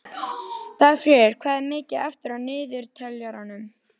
Dagfríður, hvað er mikið eftir af niðurteljaranum?